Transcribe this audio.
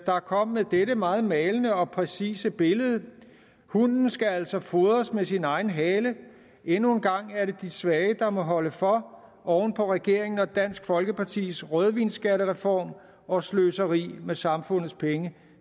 der kom med dette meget malende og præcise billede hunden skal altså fodres med sin egen hale endnu en gang er det de svage der må holde for oven på regeringen og dansk folkepartis rødvinsskattereform og sløseri med samfundets penge